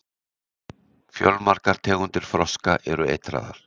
Fjölmargar tegundir froska eru eitraðar.